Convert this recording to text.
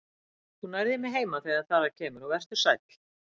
Þú nærð í mig heima þegar þar að kemur og vertu sæll.